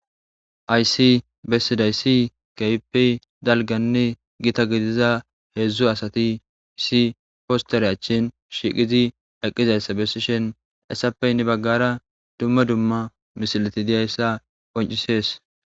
Hayissi besidayisi kehippe daliggane gitta gidiza hedzu assati issi positere achcheni shiqidi eqidayissa bessishini hassape hini baggara duma duma misileti dizayisa qoncisesi.